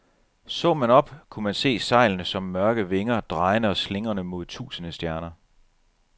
Så man op, kunne man se sejlene som mørke vinger, drejende og slingrende mod tusinde stjerner.